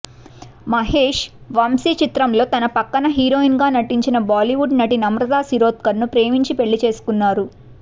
మహేష్ వంశీ చిత్రంలో తన పక్కన హీరోయిన్గా నటించిన బాలీవుడ్ నటి నమ్రత శిరోద్కర్ను ప్రేమించి పెళ్ళి చేసుకున్నారు